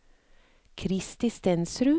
Kristi Stensrud